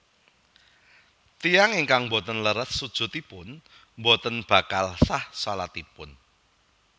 Tiyang ingkang boten leres sujudipun boten bakal sah shalatipun